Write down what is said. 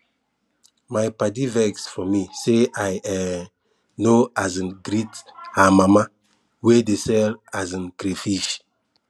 my padi vex for me say i um no um greet her mama wey dey sell um crayfish